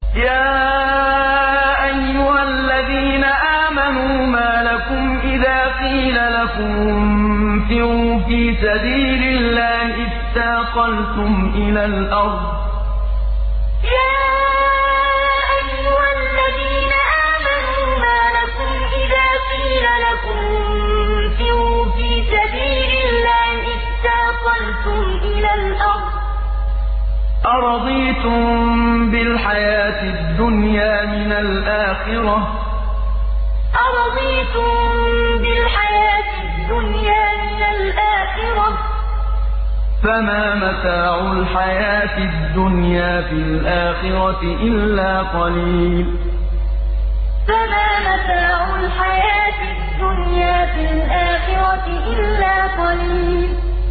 يَا أَيُّهَا الَّذِينَ آمَنُوا مَا لَكُمْ إِذَا قِيلَ لَكُمُ انفِرُوا فِي سَبِيلِ اللَّهِ اثَّاقَلْتُمْ إِلَى الْأَرْضِ ۚ أَرَضِيتُم بِالْحَيَاةِ الدُّنْيَا مِنَ الْآخِرَةِ ۚ فَمَا مَتَاعُ الْحَيَاةِ الدُّنْيَا فِي الْآخِرَةِ إِلَّا قَلِيلٌ يَا أَيُّهَا الَّذِينَ آمَنُوا مَا لَكُمْ إِذَا قِيلَ لَكُمُ انفِرُوا فِي سَبِيلِ اللَّهِ اثَّاقَلْتُمْ إِلَى الْأَرْضِ ۚ أَرَضِيتُم بِالْحَيَاةِ الدُّنْيَا مِنَ الْآخِرَةِ ۚ فَمَا مَتَاعُ الْحَيَاةِ الدُّنْيَا فِي الْآخِرَةِ إِلَّا قَلِيلٌ